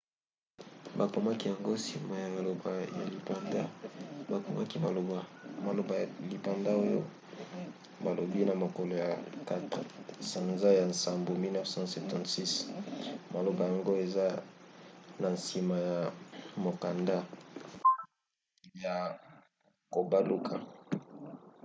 bakomaki yango nsima ya maloba ya lipanda; bakomaki maloba maloba ya lipanga oyo balobi na mokolo ya 4 sanza ya nsambo 1776". maloba yango eza na nsima ya mokanda ya kobaluka